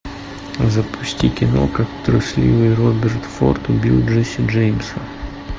запусти кино как трусливый роберт форд убил джесси джеймса